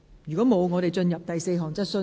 如果沒有，現在進入第四項質詢。